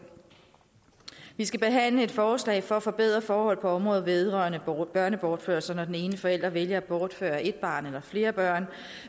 vi skal behandle et forslag for at forbedre forhold på området vedrørende børnebortførelser når den ene forælder vælger at bortføre et barn eller flere børn